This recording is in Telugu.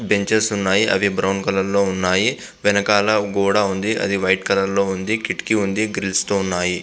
బెంచెస్ ఉన్నాయి.అవి బ్రౌన్ కలర్ లో ఉన్నాయ్.వెనకాల గోడ ఉంది.అది వైట్ కలర్ లో ఉంది .కిటికీ ఉన్నది. గ్రిల్స్ తో ఉన్నాయ్.